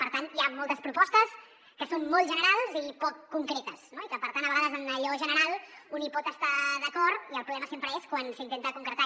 per tant hi ha moltes propostes que són molt generals i poc concretes i que per tant a vegades en allò general un hi pot estar d’acord i el problema sempre és quan s’intenta concretar